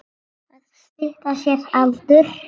Að stytta sér aldur.